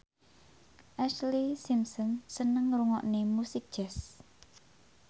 Ashlee Simpson seneng ngrungokne musik jazz